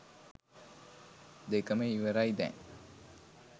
දෙකම ඉවරයි දැන්